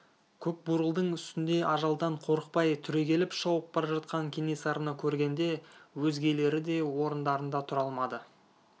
көкбурылдың үстінде ажалдан қорықпай түрегеліп шауып бара жатқан кенесарыны көргенде өзгелері де орындарында тұра алмады